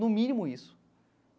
No mínimo isso.